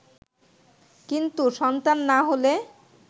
কিন্তু সন্তান না হলে